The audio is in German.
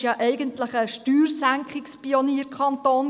Obwalden war ja ein Steuersenkungs-Pionierkanton.